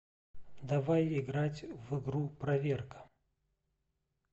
давай играть в игру проверка